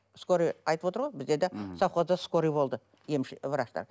скорая айтып отыр ғой бізде де совхозда скорая болды емші врачтар